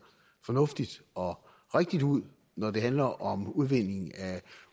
fornuftige og rigtige ud når det handler om udvindingen af